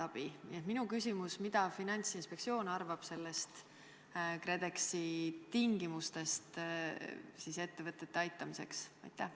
Nii et minu küsimus: mida Finantsinspektsioon arvab KredExi tingimustest ettevõtete aitamiseks?